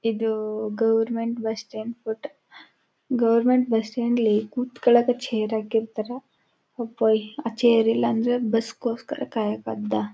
ಇದು government bus stand photo government ಬಸ್ಟ್ಯಾಂಡಲ್ಲಿ ಕೂತುಕೋನಕ್ಕೆ ಚೇರ್ ಹಾಕಿರ್ತಾರೆ ಹೋಪೊಯ್ ಆ ಚೇರ್ ಇಲ್ಲಾಂದ್ರೆ ಬಸ್ ಕೊಸ್ಕರ ಕಾಯಾಕಾಗುತ .